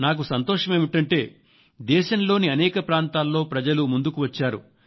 నాకు సంతోషం ఏమిటంటే దేశంలోని అనేక ప్రాంతాల్లో ప్రజలు ముందుకు వచ్చారు